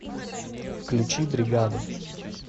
включи бригаду